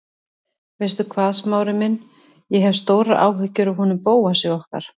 Veistu hvað, Smári minn, ég hef stórar áhyggjur af honum Bóasi okkar.